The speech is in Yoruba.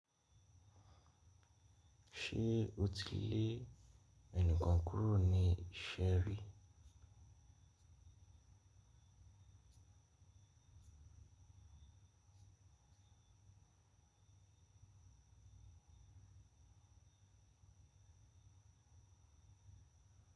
Ṣé o ti lé ẹnìkan kúrò ní ise ri?